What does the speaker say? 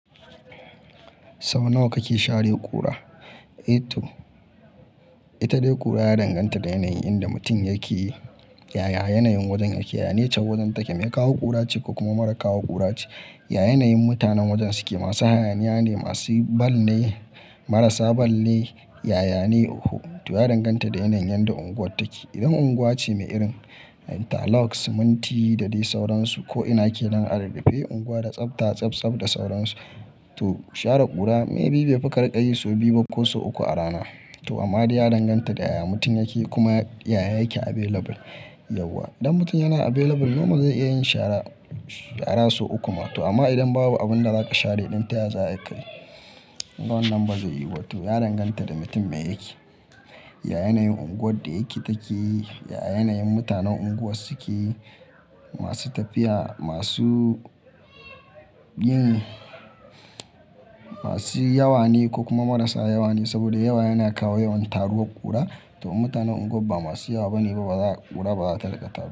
Saunawa kake share ƙura? Ito, ita dai ƙura ya danganta da yanayin inda mutum yake, yaya yanayin wajen yake, ya nature wajen take, me kawo ƙura ce ko kuma mara kawo ƙura ce, ya yanayin mutanen wajen suke, masu hayaniya ne, masu ball ne, marasa ball ne, yaya ne? Oho to ya danganta da yanayin yadda unguwar take. Idan unguwa ce mai irin, interlock siminti da dai sauransu ko ina ke nan a rurrufe unguwa da tsabta, tsabtsab da sauransu. To share ƙura maybe bai fi karika yi sau biyu ba ko sau uku a rana. To amma dai ya danganta da yaya mutum yake kuma yaya yake available, yauwa. Idan mutum yana available, normal zai iya yin shara sau uku ma. To amma idan babu abin da zaka share idan taya za a yi kayi?, kunga wannan ba zai yiyu ba. To ya danganta da mutum me yake, ya yanayin unguwar da yake take, ya yanayin mutanen unguwar suke, masu tafiya, masu yin, masu yawa ne ko kuma marasa yawa ne saboda yawa yana kawo yawan taruwar ƙura. To in mutanen unguwar ba masu yawa bane ba za ƙura ba za ta riƙa taruwa.